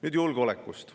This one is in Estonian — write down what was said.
Nüüd julgeolekust.